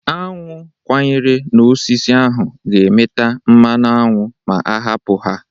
Aṅụ kwanyere n'osisi ahụ ga-emeta mmanụ aṅụ ma a hapụ ha.